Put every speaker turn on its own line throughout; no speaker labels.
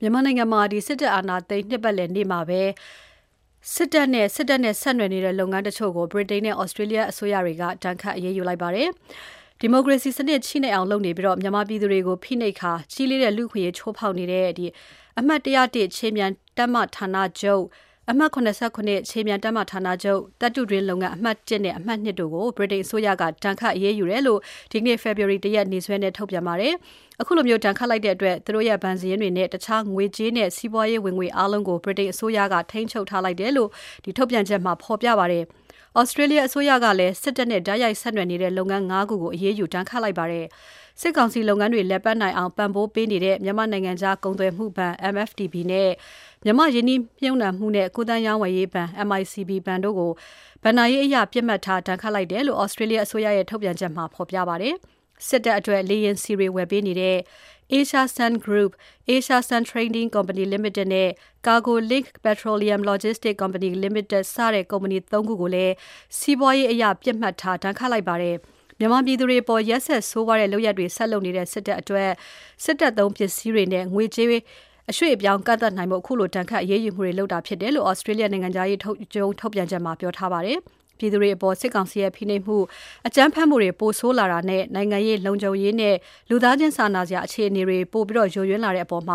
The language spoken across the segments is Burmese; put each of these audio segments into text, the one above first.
မြန်မာနိုင်ငံ စစ်တပ်အာဏာသိမ်း နှစ်ပတ်လည်နေ့မှာ စစ်တပ်လုပ်ငန်းတချို့နဲ့ စစ်တပ်နဲ့ဆက်နွယ်နေတဲ့ လုပ်ငန်းတချို့ကို ဗြိတိန်နဲ့ သြစတြေးလျနိုင်ငံတွေက အရေးယူ ဒဏ်ခတ်လိုက်ပါတယ်။ ဒီမိုကရေစီစနစ် ချည့်နဲ့အောင်လုပ်နေပြီး၊ မြန်မာပြည်သူတွေကို ဖိနှိပ်ကာ ကြီးလေးတဲ့ လူ့အခွင့်အရေးချိုးဖောက်နေတဲ့ အမှတ်(၁၀၁) ခြေမြန်တပ်မဌာနချုပ်၊ အမှတ်(၇၇) ခြေမြန်တပ်မဌာနချုပ်၊ သတ္တုတွင်းလုပ်ငန်း အမှတ် (၁) နဲ့ အမှတ် (၂) တို့ကို ဗြိတိန်အစိုးရက ဒဏ်ခတ်အရေးယူတယ်လို့ ဒီနေ့ ဖေဖော်ဝါရီ ၁ ရက် နေ့စွဲနဲ့ ထုတ်ပြန်ပါတယ်။ အခုလို ဒဏ်ခတ်လိုက်တဲ့အတွက် သူတို့ရဲ့ ဘဏ်စာရင်းတွေနဲ့ တခြားငွေကြေးနဲ့ စီးပွားရေးဝင်ငွေတွေအားလုံးကို ဗြိတိန်အစိုးရက ထိန်းချုပ်ထားလိုက်တယ်လို့ ထုတ်ပြန်ချက်မှာ ဖော်ပြထားပါတယ်။ သြစတြေးလျအစိုးရကလည်း စစ်တပ်နဲ့ တိုက်ရိုက်ဆက်နွယ်နေတဲ့ လုပ်ငန်း ၅ ခုကို အရေးယူ ဒဏ်ခတ်လိုက်ပါတယ်။ စစ်ကောင်စီလုပ်ငန်းတွေလည်ပတ်နိုင်အောင် ပံ့ပိုးပေးနေတဲ့ မြန်မာ့နိုင်ငံခြားကုန်သွယ်မှုဘဏ် MFTB နဲ့ မြန်မာ့ရင်းနှီးမြှုပ်နှံမှုနှင့် ကူးသန်းရောင်းဝယ်ရေးဘဏ် MICB ဘဏ်တို့ကို ဘဏ္ဍာရေးအရ ပစ်မှတ်ထား ဒဏ်ခတ်လိုက်တယ်လို့ သြစတြေးလျအစိုးရရဲ့ ထုတ်ပြန်ချက်မှာ ဖော်ပြပါတယ်။ စစ်တပ်အတွက် လေယာဉ်ဆီတွေဝယ်ပေးနေတဲ့ Asia Sun Group၊ Asia Sun Trading Co Ltd နဲ့ Cargo Link Petroleum Logistics Co Ltd စတဲ့ ကုမ္ပဏီ ၃ ခုကိုလည်း စီးပွားရေးအရ ပစ်မှတ်ထားဒဏ်ခတ်လိုက်ပါတယ်။ မြန်မာပြည်သူတွေအပေါ် ရက်စက်ဆိုးဝါးတဲ့လုပ်ရပ်တွေ ဆက်လုပ်နေတဲ့ စစ်တပ်အနေနဲ့ စစ်တပ်သုံးပစ္စည်းတွေနဲ့ ငွေကြေး အရွှေ့အပြောင်းကန့်သတ်နိုင်ဖို့နဲ့ ခုလိုဒဏ်ခတ်အရေးယူမှုတွေ လုပ်လိုက်တာဖြစ်တယ်လို့ သြစတြေးလျနိုင်ငံခြားရေးရုံး ထုတ်ပြန်ချက်မှာ ပြောထားပါတယ်။ ပြည်သူတွေအပေါ် စစ်ကောင်စီရဲ့ ဖိနှိပ်မှု၊ အကြမ်းဖက်မှုတွေ ပိုဆိုးလာတာနဲ့ နိုင်ငံရေး၊ လုံခြုံရေးနဲ့ လူသားချင်းစာနာစရာ အခြေအနေတွေ ပိုပြီးယိုယွင်းလာတဲ့အပေါ် သြ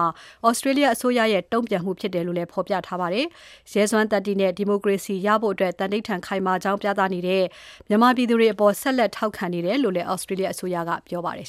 စတြေးလျအစိုးရရဲ့ တုံ့ပြန်မှုဖြစ်တယ်လို့လည်း ဖော်ပြထားပါတယ်။ ရဲစွမ်းသတ္တိနဲ့ ဒီမိုကရေစီဖို့ သဓိဌာန်ခိုင်မာကြောင်း ပြသနေတဲ့ မြန်မာပြည်သူတွေအပေါ် ဆက်လက်ထောက်ခံနေတယ်လို့လည်း သြစတြေးလျအစိုးရက ပြောပါတယ်